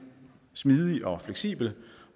smidig og fleksibel